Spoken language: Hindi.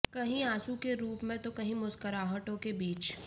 कहीं आंसू के रूप में तो कहीं मुस्कुराहटों के बीच